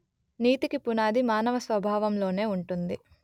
నీతికి పునాది మానవ స్వభావంలోనే ఉంటుంది